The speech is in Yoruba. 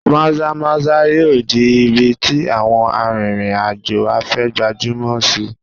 Maza-maza yóò di ibi tí àwọn arìnrìn-àjò afẹ́ gbajúmọ̀ sí i.